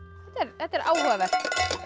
þetta er áhugavert